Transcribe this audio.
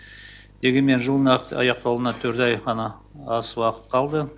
дегенмен жылдың аяқталуына төрт ай ғана аз уақыт қалды